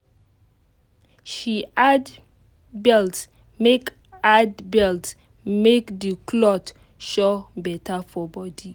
she add belt make add belt make the cloth show better for body